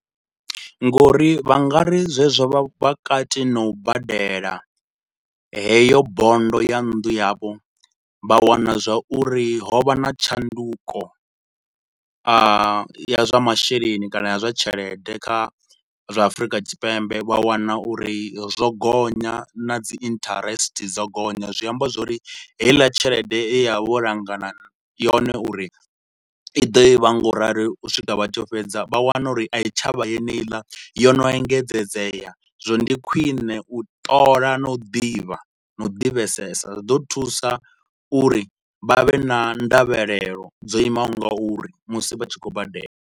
Nga uri vha nga ri zwezwo vha kati na u badela heyo bondo ya nnḓu yavho, vha wana zwa uri ho vha na tshanduko a, ya zwa masheleni kana ya zwa tshelede kha zwa Afrika Tshipembe. Vha wana uri zwo gonya na dzi interest dzo gonya, zwi amba zwa uri heiḽa tshelede ye vha vha vho langana yone uri i ḓo vha ngaurali u swika vha tshi yo fhedza vha wana uri a i tsha vha yeneiḽa, yo no engedzedzea. Zwino ndi khwine u ṱola na u ḓivha, na u ḓivhesesa, zwi ḓo thusa uri vha vhe na ndavhelelo dzo imaho ngauri musi vha tshi khou badela.